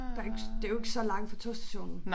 Der ikke det jo ikke så langt fra togstationen